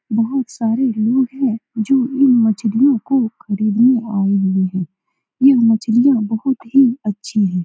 बहुत सारे लोग हैं जो इन मछलियो को खरीदने आए हुए हैं यह मछलिया बहुत ही अच्छी हैं ।